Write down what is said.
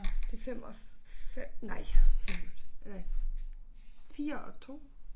De 5 og nej 4 og 2